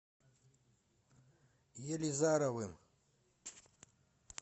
елизаровым